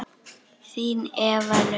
Þín Eva Laufey.